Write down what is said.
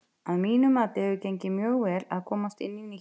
Að mínu mati hefur gengið mjög vel að komast inn í nýtt starf.